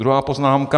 Druhá poznámka.